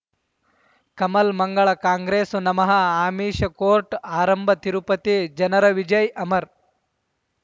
ಕಮಲ್ ಮಂಗಳ್ ಕಾಂಗ್ರೆಸ್ ನಮಃ ಅಮಿಷ್ ಕೋರ್ಟ್ ಆರಂಭ ತಿರುಪತಿ ಜನರ ವಿಜಯ ಅಮರ್